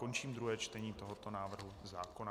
Končím druhé čtení tohoto návrhu zákona.